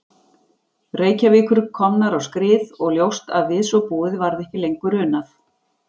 Reykjavíkur komnar á skrið og ljóst að við svo búið varð ekki lengur unað.